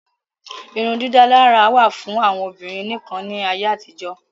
Irun dídálárà wà fún àwọn Obìnrin nìkan ní ayé àtijó